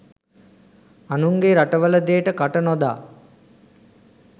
අනුන්ගේ රටවල දේට කට නොදා